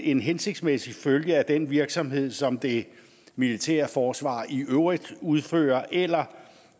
en hensigtsmæssig følge af den virksomhed som det militære forsvar i øvrigt udfører eller